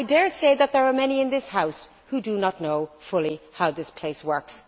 I dare say that there are many in this House who do not fully know how this place works.